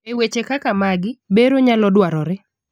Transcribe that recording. eweche kaka magi, bero nyalo dwarore